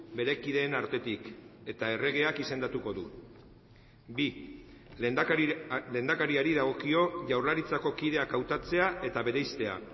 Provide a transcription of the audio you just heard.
bere kideen artetik eta erregeak izendatuko du bi lehendakariari dagokio jaurlaritzako kideak hautatzea eta bereiztea